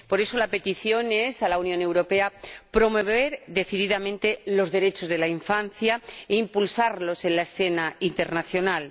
Por eso, la petición es a la Unión Europea promover decididamente los derechos de la infancia e impulsarlos en la escena internacional.